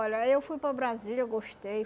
Olha, eu fui para Brasília, eu gostei.